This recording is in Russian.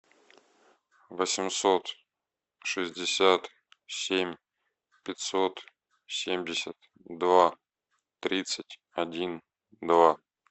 восемьсот шестьдесят семь пятьсот семьдесят два тридцать один два